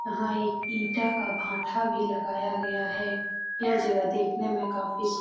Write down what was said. यहां एक ईटा का भाटा भी लगाया गया है यह जगह देखने में काफी सुंदर --